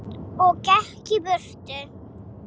Og gekk í burtu.